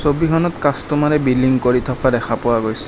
ছবিখনত কাস্তমাৰে বিলিং কৰি থকা দেখা পোৱা গৈছে।